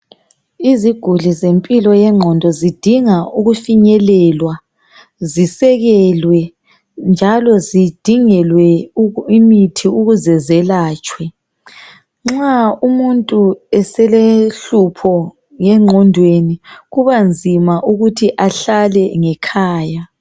iziguli zempilo yenqondo zidinga ukufinyelelwa zisekelwe njalozidingelwe imithi ukuze zelatshwe nxa umuntu eselohlupho nge qhondweni kuba nzima ukuthi ahlale ngekhaya